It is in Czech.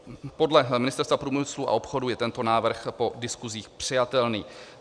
Podle Ministerstva průmyslu a obchodu je tento návrh po diskusích přijatelný.